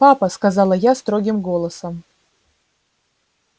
папа сказала я строгим голосом